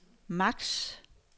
max